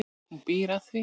Hún býr að því.